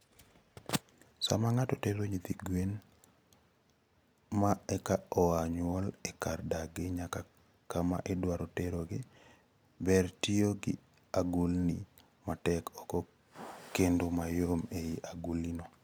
Sama ng'ato tero nyithi gwen ma eka oa nyuol e kar dakgi nyaka kama idwaro terogi, ber tiyo gi agulini matek oko kendo mayom ei agulino.